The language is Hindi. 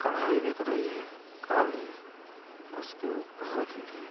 कढ़ाई दिख रही है काली उसके ऊपर रखी हैं।